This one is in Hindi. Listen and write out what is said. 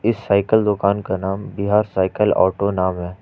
इस साइकिल दुकान का नाम बिहार साइकिल ऑटो नाम है।